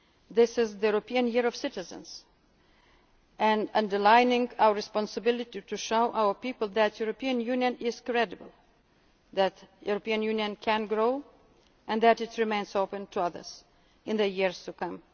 lives better. This is the European Year of Citizens, underlining our responsibility to show our people that the European Union is credible, that the European Union can grow and that it remains open to others in